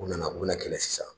U nana u bɛna na kɛlɛ sisan.